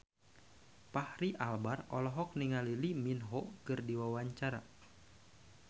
Fachri Albar olohok ningali Lee Min Ho keur diwawancara